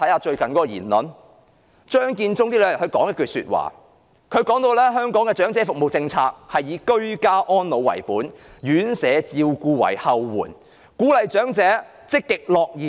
張建宗近日說了一番話，提出香港的長者服務政策，是以居家安老為本、院舍照顧為後援，並鼓勵長者積極樂頤年。